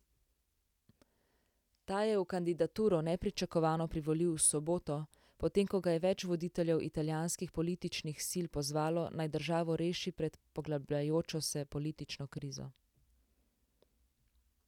Ta je v kandidaturo nepričakovano privolil v soboto, potem ko ga je več voditeljev italijanskih političnih sil pozvalo, naj državo reši pred poglabljajočo se politično krizo.